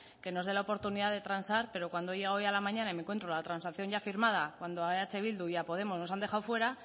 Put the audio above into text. que nos dé la oportunidad de transar pero cuando he llegado hoy a la mañana y me encuentro la transacción ya firmada cuando eh bildu y a elkarrekin podemos nos han dejado fuera